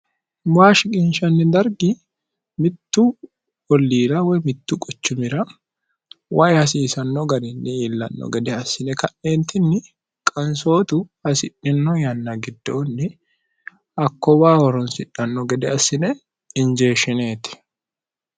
mwaashi ginshanni dargi mittu olliira woy mittu qochumira wayi hasiisanno garinni iillanno gede assine ka'neentinni qansootu hasidhino yanna giddoonni hakkowa horonsidhanno gede assine injeeshshineeti